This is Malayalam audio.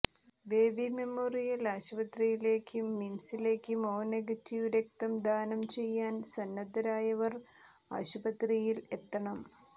ബേബി മെമ്മോറിയൽ ആശുപത്രിയിലേക്കും മിംസിലേക്കും ഒ നെഗറ്റീവ് രക്തം ദാനം ചെയ്യാൻ സന്നദ്ധരായവർ ആശുപത്രിയിൽ എത്തണം